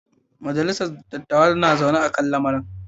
Majalisar dattawa na zaune kan lamarin.